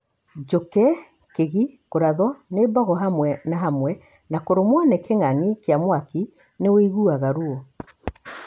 Njũkĩ, kĩgi na kũratho ni mbogo hamwe na hamwe na kũrũmo ni kĩng'ang'i kĩa mwaki nĩ wĩiguaga ruo.